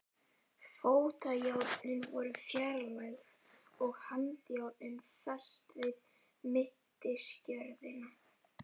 Fótajárnin voru fjarlægð og handjárnin fest við mittisgjörðina.